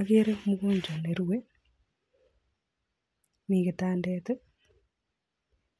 Okeree csmgonjwacs nerue, mii kitandet,